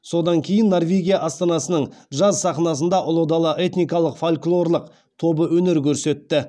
содан кейін норвегия астанасының джаз сахнасында ұлы дала этникалық фольклорлық тобы өнер көрсетті